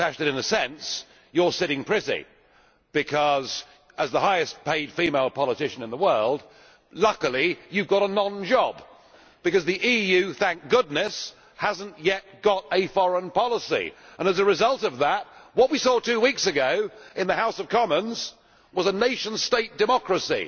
In a sense, Baroness Ashton, you are sitting pretty because, as the highest paid female politician in the world, luckily you have a non job because the EU, thank goodness, has not yet got a foreign policy and, as a result of that, what we saw two weeks ago in the UK House of Commons was a nation state democracy